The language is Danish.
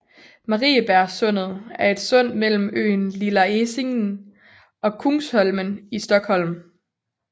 Mariebergssundet er et sund mellem øen Lilla Essingen og Kungsholmen i Stockholm